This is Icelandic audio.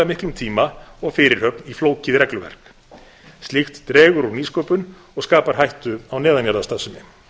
miklum tíma og fyrirhöfn í flókið regluverk slíkt dregur úr nýsköpun og skapar hættu á neðanjarðarstarfsemi